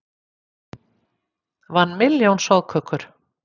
Vann milljón soðkökur